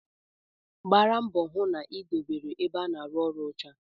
Gbara mbọ hụ na ị na-edobe ebe a na-arụ ọrụ ọcha